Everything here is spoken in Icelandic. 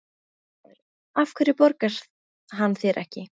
Fréttamaður: Af hverju borgar hann þér ekki?